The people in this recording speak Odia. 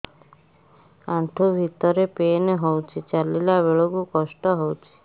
ଆଣ୍ଠୁ ଭିତରେ ପେନ୍ ହଉଚି ଚାଲିଲା ବେଳକୁ କଷ୍ଟ ହଉଚି